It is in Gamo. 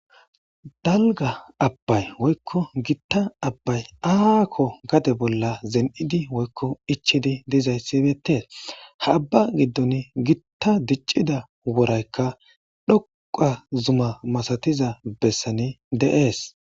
Dalga abbay woykko gitta abbay aaakko gade bolla zen7idi woykko ichidi dizayssibetee ha abba giddon gitta diccida woraykka dhoqa zuma masatiza bessani de7ees.